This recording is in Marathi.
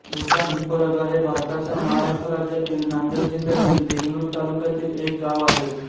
भुतानहिप्परगा हे भारताच्या महाराष्ट्र राज्यातील नांदेड जिल्ह्यातील देगलूर तालुक्यातील एक गाव आहे